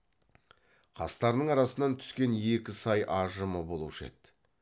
қастарының арасынан түскен екі сай ажымы болушы еді